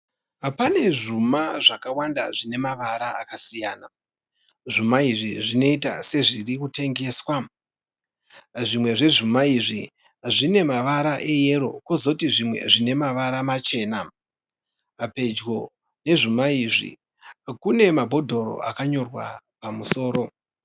Pane zvuma zvakawanda zvine mavara akasiyana, zvuma izvi zvinoita sezviri kutengeswa, zvimwe zvezvuma izvi zvine mavara eyero kozoti zvimwe zvine mavara machena, pedyo nezvuma izvi kune mabhodhoro akanyorwa pamusoro.